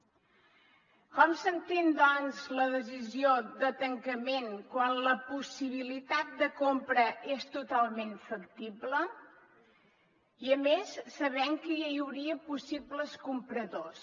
com s’entén doncs la decisió de tancament quan la possibilitat de compra és totalment factible i a més sabent que ja hi hauria possibles compradors